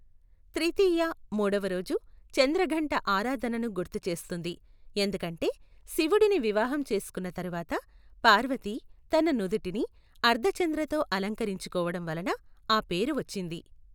త్రితీయ, మూడవ రోజు, చంద్రఘంట ఆరాధనను గుర్తు చేస్తుంది, ఎందుకంటే శివుడిని వివాహం చేసుకున్న తరువాత, పార్వతి తన నుదుటిని అర్ధచంద్రతో అలంకరించుకోడం వలన ఆ పేరు వచ్చింది.